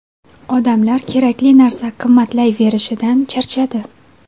Odamlar kerakli narsa qimmatlayverishidan charchadi.